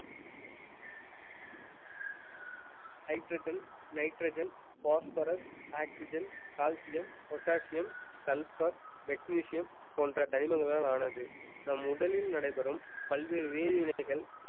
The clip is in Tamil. hydrogen, nitrogen, phosphorus, oxygen, calcium, potassium, sulfur, magnesium போன்ற தனிமங்களால் ஆனது நம் உடலில் நடைபெறும் பல்வேறு வேதி வினைகள்